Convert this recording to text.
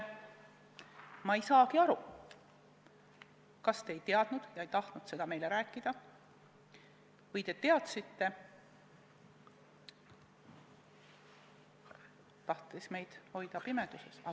Ma ei saagi aru, kas te ei olnud kursis ega tahtnud seda meile öelda või te olite kursis ja tahtsite meid hoida pimeduses.